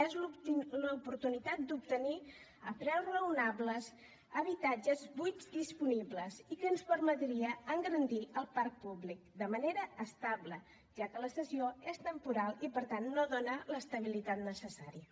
és l’oportunitat d’obtenir a preus raonables habitatges buits disponibles i que ens permetria engrandir el parc públic de manera estable ja que la cessió és temporal i per tant no dona l’estabilitat necessària